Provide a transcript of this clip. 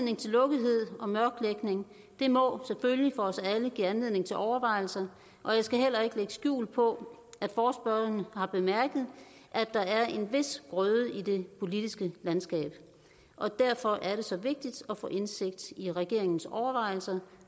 at og mørklægning må selvfølgelig for os alle give anledning til overvejelser og jeg skal heller ikke lægge skjul på at forespørgerne har bemærket at der er en vis grøde i det politiske landskab derfor er det så vigtigt at få indsigt i regeringens overvejelser